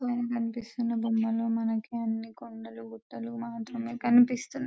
పైన కనిపిస్తున్న బొమ్మలో మనకు అన్న కొండలు గుట్టలు మాత్రమే కనిపిస్తున్నాయి --